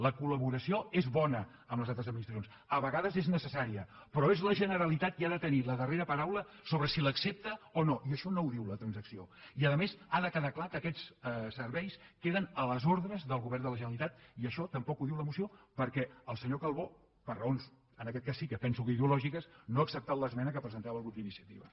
la collaboració és bona amb les altres administracions a vegades és necessària però és la generalitat qui ha de tenir la darrera paraula sobre si l’accepta o no i això no ho diu la transacció i a més ha de quedar clar que aquests serveis queden a les ordres del govern de la generalitat i això tampoc ho diu la moció perquè el senyor calbó per raons en aquest cas sí que penso que ideològiques no ha acceptat l’esmena que ha presentat el grup d’iniciativa